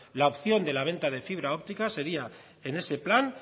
la opción de la venta de fibra óptica sería en ese plan